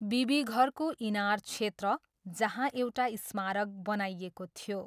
बिबिघरको इनार क्षेत्र, जहाँ एउटा स्मारक बनाइएको थियो।